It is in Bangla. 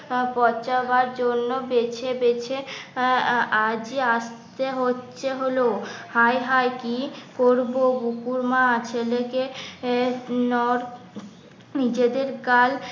পচাবার জন্য বেছে বেছে আহ আহ আজ ই আসতে হচ্ছে হলো হায় হায় কি করবো বকুর মা ছেলেকে নিজেদের গাল